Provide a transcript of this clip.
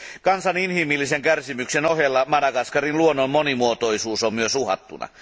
Kansan inhimillisen kärsimyksen ohella Madagaskarin luonnon monimuotoisuus on myös uhattuna.